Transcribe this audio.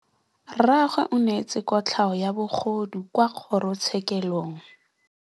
Rragwe o neetswe kotlhaô ya bogodu kwa kgoro tshêkêlông.